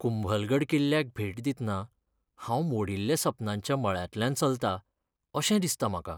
कुंभलगढ किल्ल्याक भेट दितना हांव मोडील्ल्या सपनांच्या मळांतल्यान चलतां अशें दिसता म्हाका.